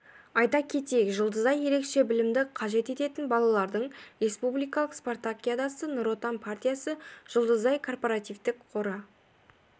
айта кетейік жұлдызай ерекше білімді қажет ететін балалардың республикалық спартакиадасы нұр отан партиясы жұлдызай корпоративтік қоры